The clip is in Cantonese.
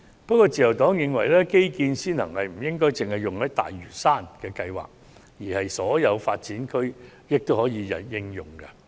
不過，自由黨認為基建先行不應只用於推行大嶼山的計劃，而應同時涵蓋所有發展區。